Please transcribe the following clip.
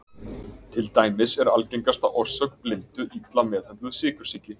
Til dæmis er algengasta orsök blindu illa meðhöndluð sykursýki.